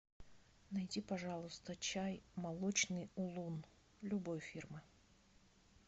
найди пожалуйста чай молочный улун любой фирмы